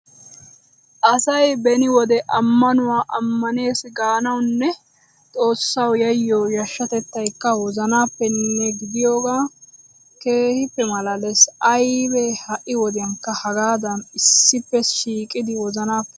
Asay beni wode ammanuwa ammaneesi gaanawunne xoossawu yayyiyo yashshatettaykka wozanappenne gidiyogee keehippe malaalees! Aybee ha"i wodiyankka hagaaddan issippe shiiqidi wozanappe haggaaziyakko!